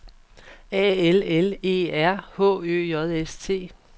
A L L E R H Ø J S T